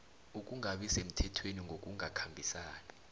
ukungabi semthethweni ngokungakhambisani